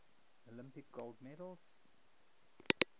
olympic gold medals